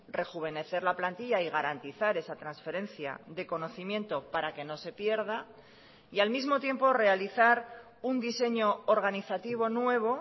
rejuvenecer la plantilla y garantizar esa transferencia de conocimiento para que no se pierda y al mismo tiempo realizar un diseño organizativo nuevo